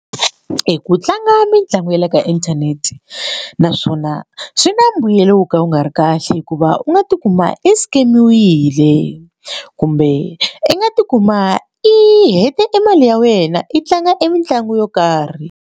Ku tlanga mitlangu ya le ka inthanete naswona swi na mbuyelo wo ka wu nga ri kahle hikuva u nga tikuma i scan-iwile kumbe i nga tikuma i hete e mali ya wena i tlanga e mitlangu yo karhi.